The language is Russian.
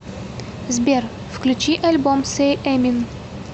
сбер включи альбом сэй эмин